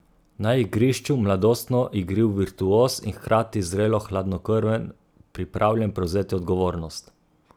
Na igrišču mladostno igriv virtuoz in hkrati zrelo hladnokrven pripravljen prevzeti odgovornost.